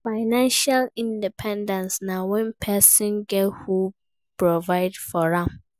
Financial dependence na when persin get who de provide for am